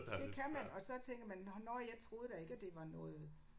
Det kan man og så tænker man nåh nåh jeg troede da ikke at det var noget